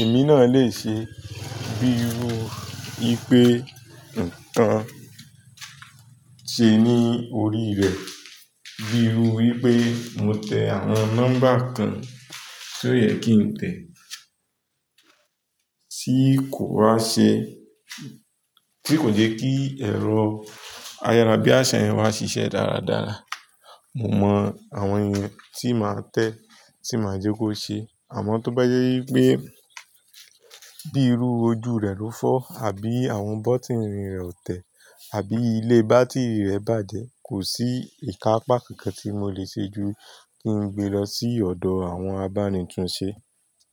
èmi náà lè ṣe, bí irú ipé ǹnkan ṣe ní orí rẹ̀, bí irú wí pé mo tẹ̀ àwọn nọ́mbà kan ti o yẹ kí ń tẹ̀ tí kò bá ṣe, tí kò jẹ́ kí ẹ̀rọ ayárabíàṣá yẹn maá ṣiṣẹ́ dáradára, mo mọ àwọn èèyàn tí màá tẹ́ tí màá jẹ́ kó ṣe. Àmọ́ tó bá jẹ́ í pé bí irú ojú rẹ̀ ló fọ́ àbí àwọn bọ́tíìnì rẹ̀ ò tẹ̀ àbí ilé bátírì rẹ̀ bàjẹ́, kò sí ìkápa kankan tí mo lè ṣe ju kí n gbe lọ sí ọ̀dọ̀ àwọn abánitùn ṣe.